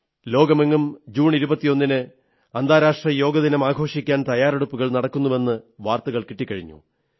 ലോകമെങ്ങും 21 ജൂണിന് അന്തർരാഷ്ട്രീയ യോഗ ദിനമാഘോഷിക്കാൻ തയ്യാറെടുപ്പുകൾ നടക്കുന്നുവെന്ന് വാർത്തകൾ കിട്ടിക്കഴിഞ്ഞു